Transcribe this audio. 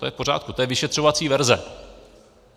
To je v pořádku, to je vyšetřovací verze.